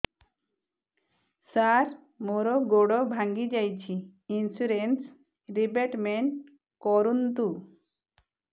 ସାର ମୋର ଗୋଡ ଭାଙ୍ଗି ଯାଇଛି ଇନ୍ସୁରେନ୍ସ ରିବେଟମେଣ୍ଟ କରୁନ୍ତୁ